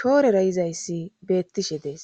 shoorera yizayssi beettishe dees